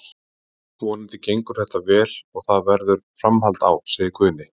Vonandi gengur þetta vel og það verður framhald á, segir Guðni.